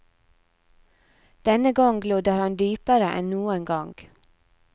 Denne gang lodder han dypere enn noen gang.